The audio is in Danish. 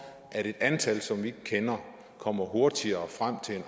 at et antal som vi ikke kender kommer hurtigere frem til en